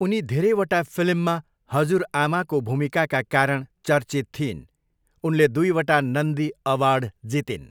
उनी धेरैवटा फिल्ममा हजुरआमाको भूमिकाका कारण चर्चित थिइन्। उनले दुईवटा नन्दी अवार्ड जितिन्।